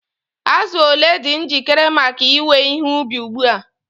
Azụ ole dị njikere maka iwe ihe ubi ugbu a?